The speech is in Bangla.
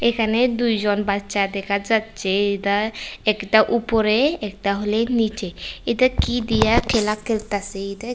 এখানে দুইজন বাচ্চা দেখা যাচ্ছে এইটা একটা উপরে একটা হইলে নিচে এইটা কি দিয়া খেলা খেলতাসে এই দেখ--